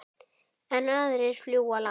Enn aðrir flúðu land.